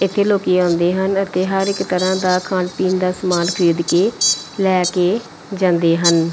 ਇੱਥੇ ਲੋਕੀ ਆਉਂਦੇ ਹਨ ਅਤੇ ਹਰ ਇੱਕ ਤਰ੍ਹਾਂ ਦਾ ਖਾਣ ਪੀਣ ਦਾ ਸਮਾਨ ਖਰੀਦ ਕੇ ਲੈ ਕੇ ਜਾਂਦੇ ਹਨ।